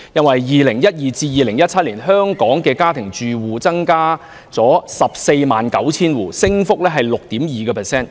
在2012年至2017年期間，香港家庭住戶數目增加了 149,000 戶，升幅為 6.2%。